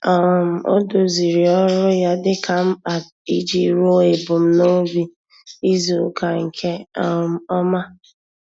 um Ọ́ dòzìrì ọ́rụ́ ya dika mkpa iji rúó èbùmnòbì izùùka nke um ọ́ma.